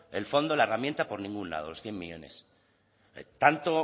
el fondo la herramienta por ningún lado los cien millónes tanto